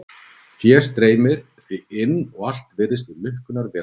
Fé streymir því inn og allt virðist í lukkunnar velstandi.